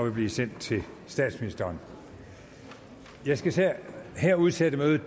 nu blive sendt til statsministeren jeg skal her udsætte mødet